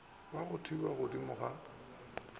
ya go thewa godimo ga